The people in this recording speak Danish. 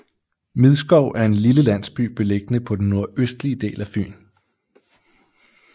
Midskov er en lille landsby beliggende på den nordøstlige del af Fyn